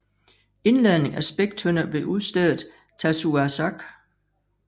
Indladning af spæktønder ved udstedet Tasiussak